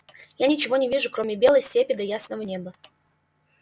я ничего не вижу кроме белой степи да ясного неба